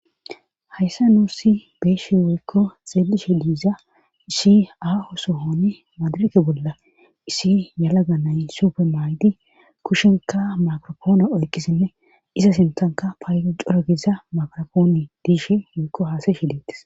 hayssa nuussi beeshi woykko xeelishe diiza issi aaho sohoni madirake bolla isi yalaga nay supe maay7di kushenka makropoona oykkisinne iza sintanka paayo coragiza makrapooni diishi woykko haasay shi deetis